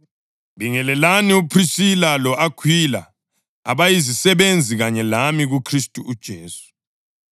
Bingelelani uPhrisila lo-Akhwila, abayizisebenzi kanye lami kuKhristu uJesu.